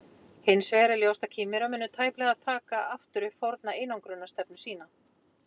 Hins vegar er ljóst að Kínverjar munu tæplega taka aftur upp forna einangrunarstefnu sína.